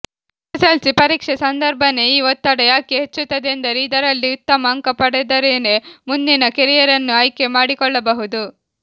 SSLC ಪರೀಕ್ಷೆ ಸಂದರ್ಭನೇ ಈ ಒತ್ತಡ ಯಾಕೆ ಹೆಚ್ಚುತ್ತದೆಂದರೆ ಇದರಲ್ಲಿ ಉತ್ತಮ ಅಂಕ ಪಡೆದರೆನೇ ಮುಂದಿನ ಕೆರಿಯರ್ನ್ನು ಆಯ್ಕೆ ಮಾಡಿಕೊಳ್ಳಬಹುದು